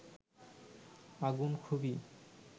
আগুন খুবই